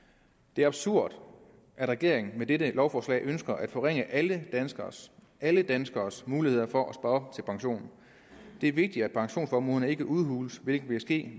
det er absurd at regeringen med dette lovforslag ønsker at forringe alle danskeres alle danskeres muligheder for at spare op til pension det er vigtigt at pensionsformuerne ikke udhules hvilket vil ske